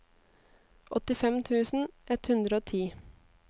åttifem tusen ett hundre og ti